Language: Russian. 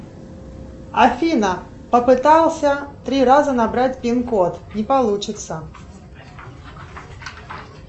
афина попытался три раза набрать пин код не получится